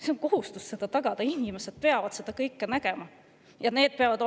Meil on kohustus seda tagada, inimestel peab seda kõike näha.